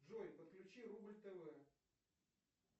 джой подключи рубль тв